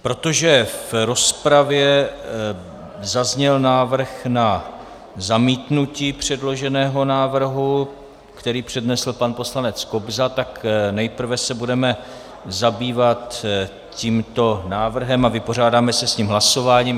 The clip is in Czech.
Protože v rozpravě zazněl návrh na zamítnutí předloženého návrhu, který přednesl pan poslanec Kobza, tak se nejprve budeme zabývat tímto návrhem a vypořádáme se s ním hlasováním.